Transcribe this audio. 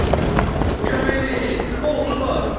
Kömək eləyin, oğru var!